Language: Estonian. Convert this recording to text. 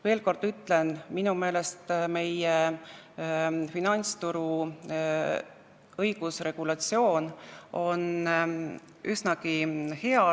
Veel kord ütlen: minu meelest on meie finantsturu õigusregulatsioon üsnagi hea.